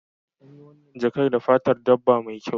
An yi wannan jakar da fatar dabba mai kyau